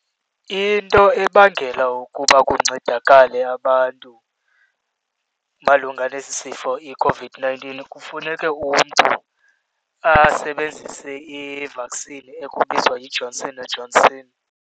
Into ebangela ukuba kuncedakale abantu malunga nesi sifo iCOVID-nineteen kufuneke umntu asebenzise i-vaccine ekubizwa yiJohnson and Johnson.